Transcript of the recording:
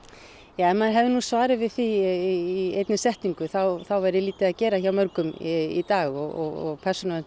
ja ef maður hefðu nú svarið við því í einni setningu þá væri nú lítið að gera hjá mörgum í dag og Persónuvernd